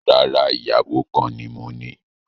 Rárá, ìyàwó kan ni moní